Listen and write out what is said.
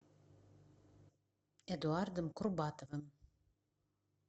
эдуардом курбатовым